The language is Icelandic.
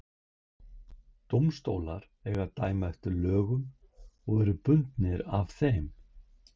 Dómstólar eiga að dæma eftir lögum og eru bundnir af þeim.